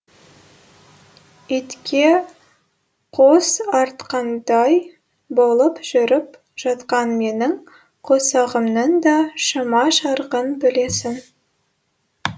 итке қос артқандай болып жүріп жатқан менің қосағымның да шама шарқын білесің